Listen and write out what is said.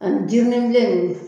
Ani jirinibilen ninnu